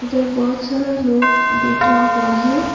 उधर बहोत सारा लोग बैठा हुआ है।